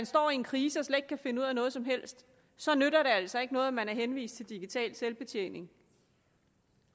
står i en krise og slet ikke kan finde ud af noget som helst så nytter det altså ikke noget at man er henvist til digital selvbetjening